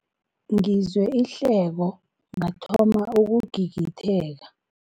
Ngizwe ihleko ngathoma ukugigitheka.